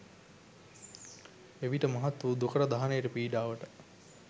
එවිට මහත් වූ දුකට, දහනයට, පීඩාවට